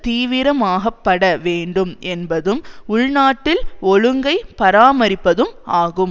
தீவிரமாக்கப்பட வேண்டும் என்பதும் உள்நாட்டில் ஒழுங்கை பராமரிப்பதும் ஆகும்